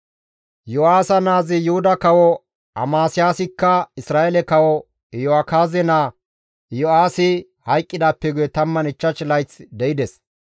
Yo7aasa naazi Yuhuda kawo Amasiyaasikka Isra7eele kawo Iyo7akaaze naa Iyo7aasi hayqqidaappe guye 15 layth de7ides.